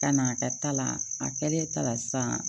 Ka na a ka ta la a kɛlen ta la sisan